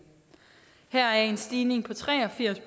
her er i en stigning på tre og firs